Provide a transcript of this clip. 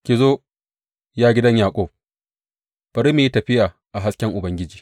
Ki zo, ya gidan Yaƙub, bari mu yi tafiya a hasken Ubangiji.